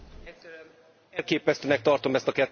Elképesztőnek tartom ezt a kettős beszédet!